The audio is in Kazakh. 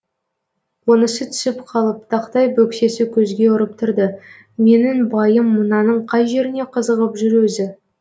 онысы түсіп қалып тақтай бөксесі көзге ұрып тұрды менің байым мынаның қай жеріне қызығып жүр өзі